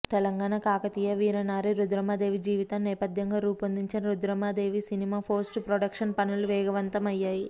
తెలంగాణ కాకతీయ వీరనారి రుద్రమదేవి జీవితం నేపధ్యంగా రూపొందిన రుద్రమదేవి సినిమా పోస్ట్ ప్రొడక్షన్ పనులు వేగవంతం అయ్యాయి